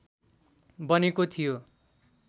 बनेको थियो